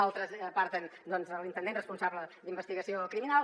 altres aparten l’intendent responsable d’investigació criminal